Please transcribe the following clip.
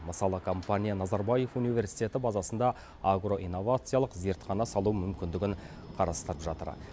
мысалы компания назарбаев университеті базасында агроинновациялық зертхана салу мүмкіндігін қарастырып жатыр